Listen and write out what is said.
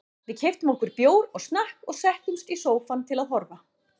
Við keyptum okkur bjór og snakk og settumst í sófann til að horfa.